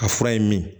A fura ye min ye